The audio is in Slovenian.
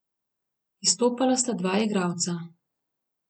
Izstopala sta dva igralca.